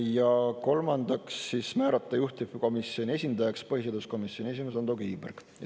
Ja kolmandaks, määrata juhtivkomisjoni esindajaks põhiseaduskomisjoni esimees Ando Kiviberg.